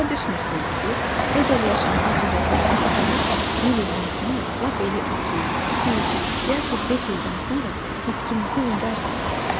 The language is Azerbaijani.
Başa düşmürsünüz ki, əgər yaşamağa cürətiniz çatsa, bir ildən sonra, lap elə iki, üç, yaxud beş ildən sonra itkinizi unudarsınız.